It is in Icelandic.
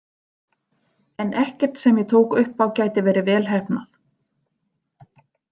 En ekkert sem ég tók upp á gæti verið vel heppnað.